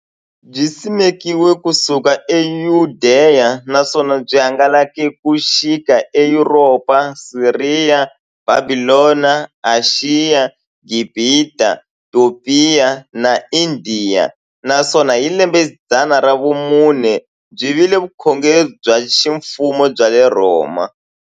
Byisimekiwe ku suka e Yudeya, naswona byi hangalake ku xika e Yuropa, Siriya, Bhabhilona, Ashiya, Gibhita, Topiya na Indiya, naswona hi lembexidzana ra vumune byi vile vukhongeri bya ximfumo bya le Rhoma.